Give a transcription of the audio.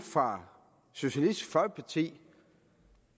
fra socialistisk folkeparti